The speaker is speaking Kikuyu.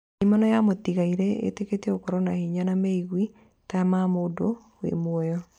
Ndaimono ya mũtigairĩ ĩtĩkĩtio gũkorwo na hinya, na meigwi ta ma mũndũ wĩ mũoyo